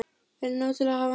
Er nóg til af henni?